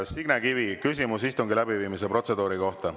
Signe Kivi, küsimus istungi läbiviimise protseduuri kohta.